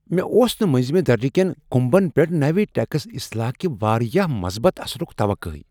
مےٚ اوس نہٕ منزِمہِ درجہِ كین كٗمبن پیٹھ نٕوِ ٹیکس اصلاح کہ واریاہ مثبت اثرٖك توقع۔